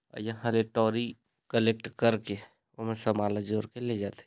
और यह टोरी कलेक्ट ओमे समान ल जोर के ले जाथे ।